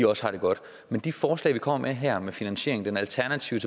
også har det godt men de forslag vi kommer med her handler om finansiering den alternative